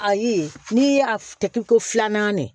Ayi n'i y'a kɛ ko filanan de ye